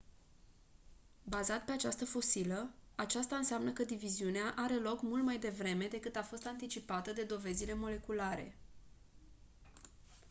,,bazat pe această fosilă aceasta înseamnă că diviziunea are loc mult mai devreme decât a fost anticipată de dovezile moleculare